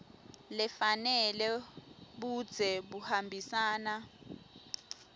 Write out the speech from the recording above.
lefanele budze buhambisana